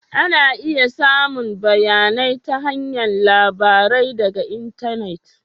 Ana iya samun bayanai ta hanyar labarai daga intanet